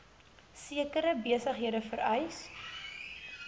sekere besighede vereis